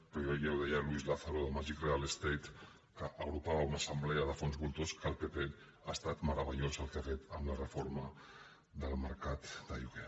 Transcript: però ja ho deia luis lázaro de magic real estate que agrupava una assemblea de fons voltors que el pp ha estat meravellós el que ha fet amb la reforma del mercat de lloguer